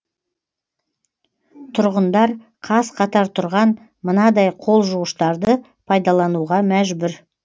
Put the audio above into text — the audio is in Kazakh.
тұрғындар қаз қатар тұрған мынадай қол жуғыштарды пайдалануға мәжбүр